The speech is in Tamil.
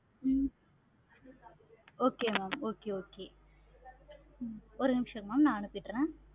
ஹம் okay mam okay okay ஒரு நிமிஷம் mam நா அனுப்பிடுறேன். mam